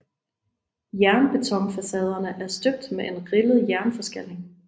Jernbetonfacaderne er støbt med en rillet jernforskalling